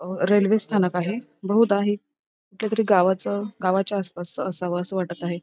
अह रेल्वे स्थानक आहे बहुदा हे कुठल्यातरी गावाचं गावाच्या आसपास च असावं असं वाटत आहे.